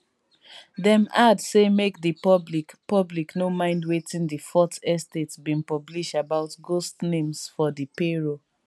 dis no dey my agenda but e don turn to the highlight of my week. um